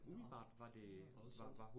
Nåh det lyder voldsomt